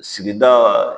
Sigida